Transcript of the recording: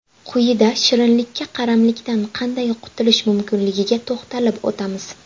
Quyida shirinlikka qaramlikdan qanday qutulish mumkinligiga to‘xtalib o‘tamiz .